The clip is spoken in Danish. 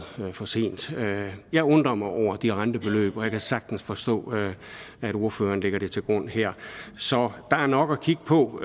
for sent jeg jeg undrer mig over de rentebeløb og jeg kan sagtens forstå at ordføreren lægger det til grund her så der er nok at kigge på